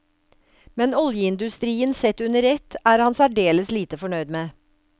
Men oljeindustrien sett under ett er han særdeles lite fornøyd med.